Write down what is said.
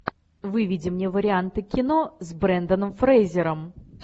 выведи мне варианты кино с бренданом фрейзером